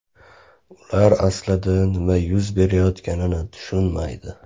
Ular aslida nima yuz berayotganligini tushunmaydi.